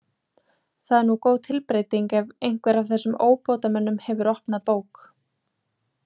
Það er nú góð tilbreyting ef einhver af þessum óbótamönnum hefur opnað bók.